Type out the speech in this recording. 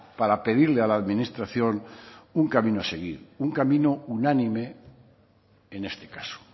para pedirle a la administración un camino a seguir un camino unánime en este caso